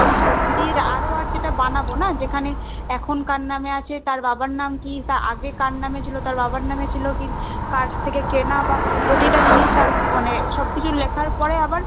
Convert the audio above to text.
দিয়ে ROR যেটা বানাবো না যেখানে এখন কার নামে আছে তার বাবার নাম কি আগে কার নাম এ ছিলো তার বাবার নামে ছিল কি কার থেকে কেনা বা প্রতি টা জিনিস তার মানে সব কিছু লেখার পরে আবার